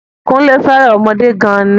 Kúnlé féràn ọmọdé gan ni